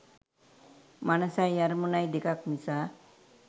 මනසයි අරමුණයි දෙකක් නිසා.